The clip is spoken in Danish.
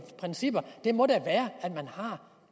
principper da må være at man har